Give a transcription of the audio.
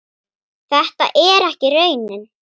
Þetta er ekki raunin.